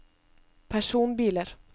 personbiler